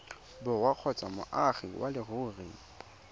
borwa kgotsa moagi wa leruri